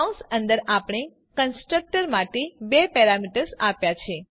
કૌસ અંદર આપણે કન્સ્ટ્રક્ટર માટે બે પેરામીટર્સ આપ્યા છે